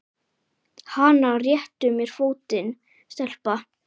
Hana réttu mér fótinn, stelpa!